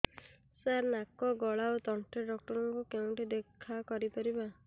ସାର ନାକ ଗଳା ଓ ତଣ୍ଟି ଡକ୍ଟର ଙ୍କୁ କେଉଁଠି ଦେଖା କରିପାରିବା